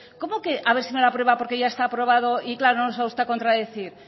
cómo que a ver si me lo aprueba porque ya está aprobado y claro no va usted a contradecir